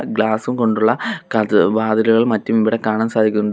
ഗ്ലാസും കൊണ്ടുള്ള കഥ വാതിലുകൾ മറ്റും ഇവിടെ കാണാൻ സാധിക്കുന്നുണ്ട്.